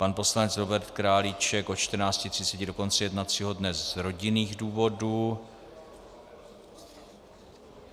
Pan poslanec Robert Králíček od 14.30 do konce jednacího dne z rodinných důvodů.